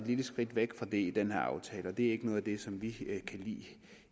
lille skridt væk fra det i den her aftale og det er ikke noget af det som vi kan lide